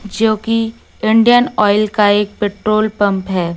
जो कि Indian oil का एक पेट्रोल पंप है।